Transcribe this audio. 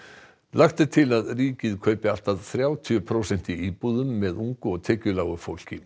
lagt er til að ríkið kaupi allt að þrjátíu prósent í íbúðum með ungu og tekjulágu fólki